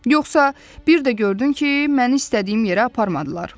Yoxsa bir də gördün ki, məni istədiyim yerə aparmadılar.